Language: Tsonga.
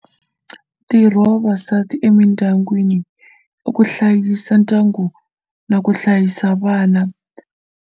Ntirho wa vavasati emindyangwini i ku hlayisa ndyangu na ku hlayisa vana.